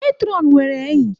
Matron nwere enyi.